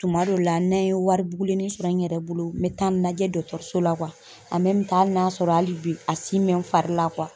Tuma dɔw la na n ye wari bugulennin sɔrɔ n yɛrɛ bolo n bɛ taa najɛ so la . hali n'a sɔrɔ hali bi a bɛ n fari la .